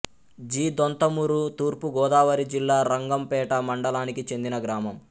G Donthamuru తూర్పు గోదావరి జిల్లా రంగంపేట మండలానికి చెందిన గ్రామం